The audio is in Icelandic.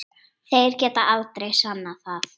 Þeir geta aldrei sannað það!